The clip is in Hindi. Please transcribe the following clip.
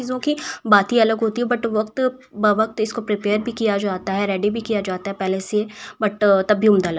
सकी बात ही अलग होती है बट वक्त बवक्त इसको प्रिपेयर भी किया जाता है रेडी भी किया जाता है पहले से बट तब भी उम्दा --